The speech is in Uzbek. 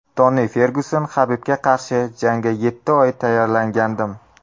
Toni Fergyuson: Habibga qarshi jangga yetti oy tayyorlangandim.